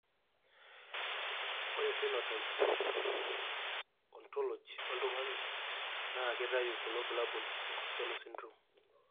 Ore Phenotype Ontology oltung'ani naa keitayu kulo bulabol le Costello syndrome.